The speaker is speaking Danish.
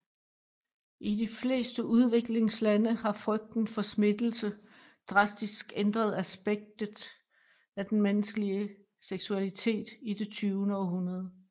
I de fleste udviklingslande har frygt for smittelse drastisk ændret aspekter af den menneskelige seksualitet i det tyvende århundrede